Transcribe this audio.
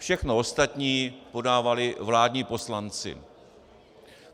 Všechno ostatní podávali vládní poslanci.